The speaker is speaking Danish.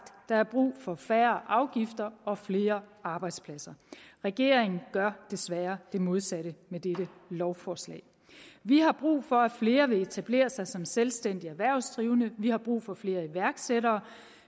der er brug for færre afgifter og flere arbejdspladser regeringen gør desværre det modsatte med dette lovforslag vi har brug for at flere vil etablere sig som selvstændige erhvervsdrivende vi har brug for flere iværksættere og